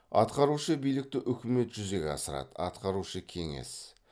атқарушы билікті үкімет жүзеге асырады атқарушы кеңес